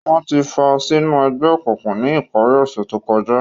Wọn ti fàa sinu ẹgbẹ-ọkunkun ni ìpari ọsẹ to kọja.